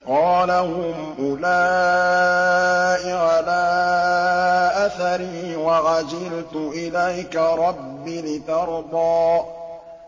قَالَ هُمْ أُولَاءِ عَلَىٰ أَثَرِي وَعَجِلْتُ إِلَيْكَ رَبِّ لِتَرْضَىٰ